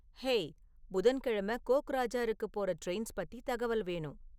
hey புதன்கெழம கோக்ராஜாருக்குப் போற ட்ரெயின்ஸ் பத்தி தகவல் வேணும்